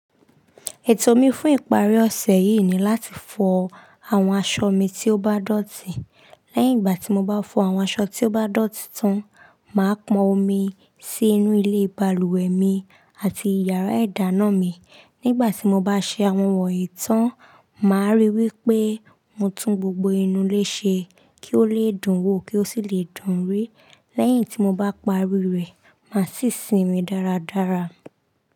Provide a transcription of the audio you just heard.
Ètò mi fún ìparí ọ̀sẹ̀ yìí ni láti fọ àwọn aṣọ mi tí ó bá dọ̀tí. Lẹ́yìn ìgbà tí mo bá fọ àwọn aṣọ tí ó bá dọ̀tí tán, mà á pọn omi sí inú ilé balùwẹ̀ mi àti ìyàrá-idáná mi. Nígbà tí mo bá ṣe àwọn wọ̀nyí tán, mà á ríi wí pé mo tún gbogbo inú ilé ṣe kí ó lè dún wò kí ó sì lè dúnrí. Lẹ́yìn tí mo bá parí rẹ̀, mà á sì sinmi dáradára.